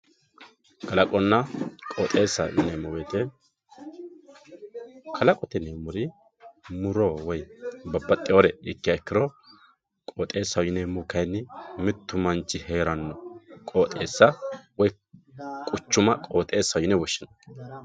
kalaqonna qooxeessaho yineemmo woyiite kalaqote yineemmori muro woy babbaxxewoore iikkiha ikkiro qooxeessaho yineemmohu kayni mittu manchi heeranno qooxeessa woy quchuma qooxeessaho yine woshshinanni.